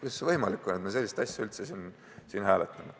Kuidas see võimalik on, et me sellist asja üldse siin hääletame?